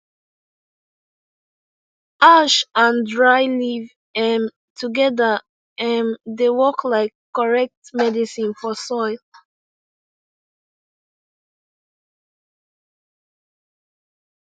ash and dry leaf um together um dey work like correct medicine for soil